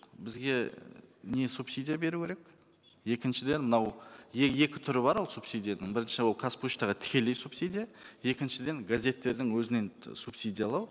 бізге не субсидия беру керек екіншіден мынау екі түрі бар ол субсидияның бірінші ол қазпоштаға тікелей субсидия екіншіден газеттердің өзінен субсидиялау